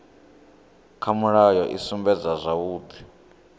kha mulayo i sumbedza zwavhudi